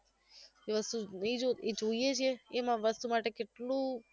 જે વસ્તુ ની જોઈ જોઈએ છે એમાં વસ્તુ માટે કેટલું